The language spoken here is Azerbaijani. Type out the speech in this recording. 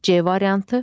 C variantı.